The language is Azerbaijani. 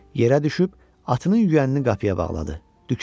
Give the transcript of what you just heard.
Yerə düşüb atının yüyənini qapıya bağladı.